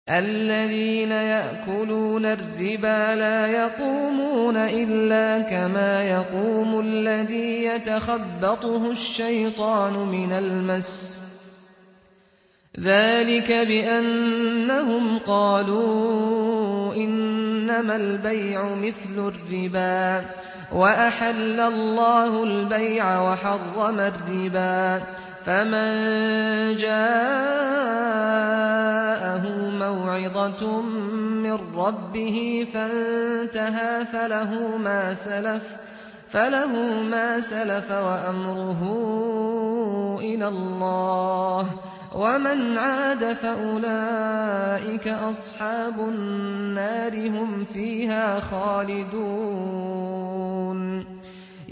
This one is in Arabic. الَّذِينَ يَأْكُلُونَ الرِّبَا لَا يَقُومُونَ إِلَّا كَمَا يَقُومُ الَّذِي يَتَخَبَّطُهُ الشَّيْطَانُ مِنَ الْمَسِّ ۚ ذَٰلِكَ بِأَنَّهُمْ قَالُوا إِنَّمَا الْبَيْعُ مِثْلُ الرِّبَا ۗ وَأَحَلَّ اللَّهُ الْبَيْعَ وَحَرَّمَ الرِّبَا ۚ فَمَن جَاءَهُ مَوْعِظَةٌ مِّن رَّبِّهِ فَانتَهَىٰ فَلَهُ مَا سَلَفَ وَأَمْرُهُ إِلَى اللَّهِ ۖ وَمَنْ عَادَ فَأُولَٰئِكَ أَصْحَابُ النَّارِ ۖ هُمْ فِيهَا خَالِدُونَ